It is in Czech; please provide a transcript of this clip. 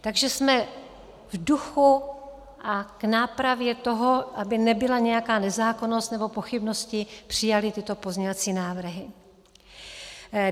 Takže jsme v duchu a k nápravě toho, aby nebyla nějaká nezákonnost nebo pochybnosti, přijali tyto pozměňovací návrhy.